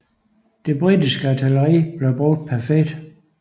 Det britiske artilleri blev brugt perfekt